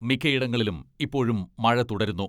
മിക്കയിടങ്ങളിലും ഇപ്പോഴും മഴ തുടരുന്നു.